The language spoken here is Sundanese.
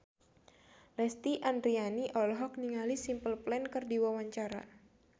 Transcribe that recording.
Lesti Andryani olohok ningali Simple Plan keur diwawancara